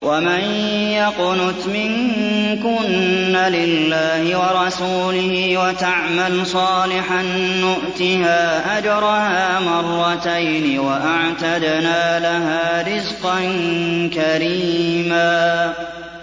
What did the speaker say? ۞ وَمَن يَقْنُتْ مِنكُنَّ لِلَّهِ وَرَسُولِهِ وَتَعْمَلْ صَالِحًا نُّؤْتِهَا أَجْرَهَا مَرَّتَيْنِ وَأَعْتَدْنَا لَهَا رِزْقًا كَرِيمًا